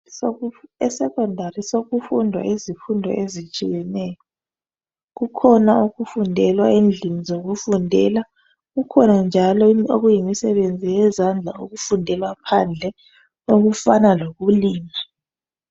ESecondary sokufundwa izifundo ezitshiyeneyo. Kukhona okufundelwa endlini zokufundela, kukhona njalo okuyimisebenzi yezandla okufundelwa phandle okufana lokulima.